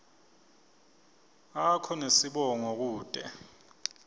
akho nesibongo kute